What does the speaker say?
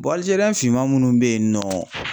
finman munnu be yen nɔ.